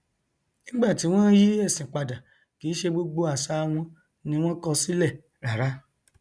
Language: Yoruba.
nígbàtí wọn yí ẹsìn padà kìí ṣe gbogbo àṣà wọn ni wọn kọ sílẹ rárá